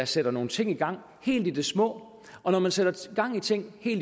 sætter nogle ting i gang helt i det små og når der sættes ting i